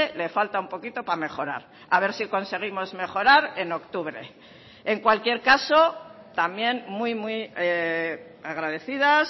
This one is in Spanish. le falta un poquito para mejorar a ver si conseguimos mejorar en octubre en cualquier caso también muy muy agradecidas